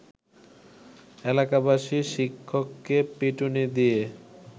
এলাকাবাসী শিক্ষককে পিটুনি দিয়ে